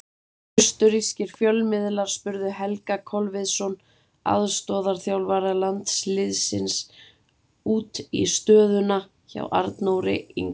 Austurrískir fjölmiðlar spurðu Helga Kolviðsson, aðstoðarþjálfara landsliðsins, út í stöðuna hjá Arnóri Ingva.